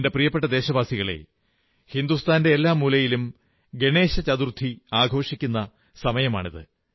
എന്റെ പ്രിയപ്പെട്ട ദേശവാസികളേ ഹിന്ദുസ്ഥാന്റെ എല്ലാ മൂലയിലും ഗണേശ ചതുർത്ഥി ആഘോഷിക്കുന്ന സമയമാണിത്